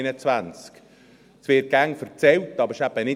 Das wird immer gesagt, aber es stimmt eben nicht.